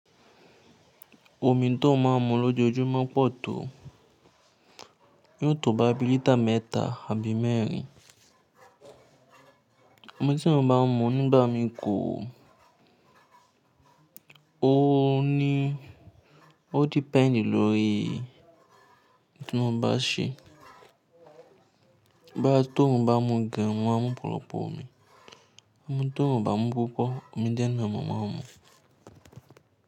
Omi to o ma mu lojoojumọ pọ̀ to. Yọ̀ tọ̀ boya bi litre mẹ́ta àbí mẹ́rin. Ọ̀mi tí mo bá ń mu nígbà mí kò ó ní ó depend lórí tí mo bá ṣe. Boya tí orun bá mu gan, mo ma mu ọ̀pọ̀lọpọ̀ omi. Ti orun oo bá mu púpọ̀, omi diẹ́ nì mọ ma mu.